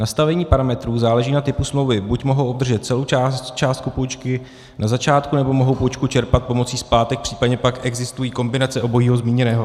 Nastavení parametrů záleží na typu smlouvy, buď mohou obdržet celou částku půjčky na začátku, nebo mohou půjčku čerpat pomocí splátek, případně pak existují kombinace obojího zmíněného.